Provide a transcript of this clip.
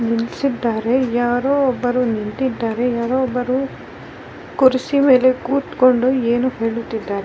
ಈ ತರಾ ಮಾಡಿ ಎರಡು ಆಟೋ ರಿಕ್ಷಾಗಳು --